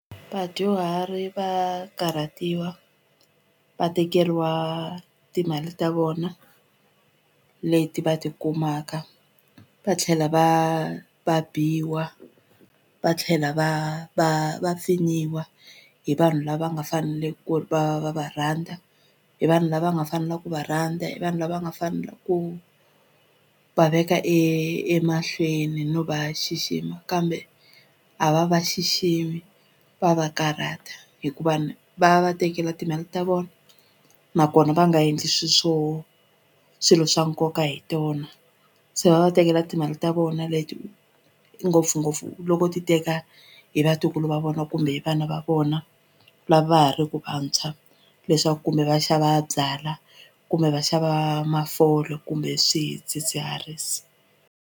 Vadyuhari va karhatiwa va tekeriwa timali ta vona leti va tikumaka va tlhela va va biwa va tlhela va va va pfinyiwa hi vanhu lava nga fanele ku ri va va va va rhandza hi vanhu lava nga fanela ku va rhandza hi vanhu lava nga fanela ku va veka emahlweni no va xixima kambe a va va xiximi va va karhata hikuva ni va va va tekela timali ta vona nakona va nga endli swi swo swilo swa nkoka hi tona se va va tekela timali ta vona leti ngopfungopfu loko ti teka hi vatukulu va vona kumbe hi vana va vona lava va ha ri ku vantshwa leswaku kumbe va xava byalwa kumbe va xava mafole kumbe swidzidziharisi.